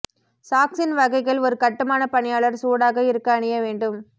சாக்ஸின் வகைகள் ஒரு கட்டுமான பணியாளர் சூடாக இருக்க அணிய வேண்டும்